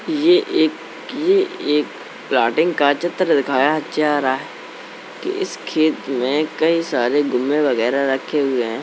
ये एक ये एक प्लाटिंग का चित्र दिखाया जा रहा। इस खेत में कई सारे गुम्मे वगैरह रखे हुए है।